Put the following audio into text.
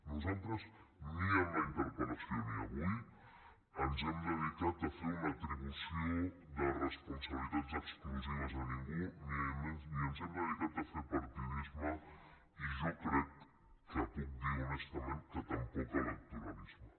nosaltres ni en la interpelcat a fer una atribució de responsabilitats exclusives a ningú ni ens hem dedicat a fer partidisme i jo crec que puc dir honestament que tampoc electoralisme